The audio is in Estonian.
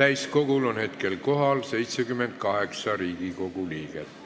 Täiskogul on hetkel kohal 78 Riigikogu liiget.